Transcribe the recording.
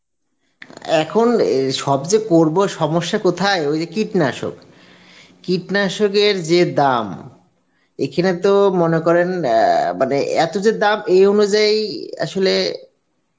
আ এখন সব সে করব সমস্যা কথায় ওই যে কীটনাশক, কীটনাশকের যে দাম, এখানে তো মনে করেন, আ মানে এত যে দাম এই অনুজাই আসলে